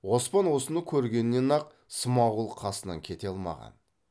оспан осыны көргеннен ақ смағұл қасынан кете алмаған